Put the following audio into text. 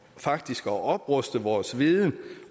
faktisk at opruste vores viden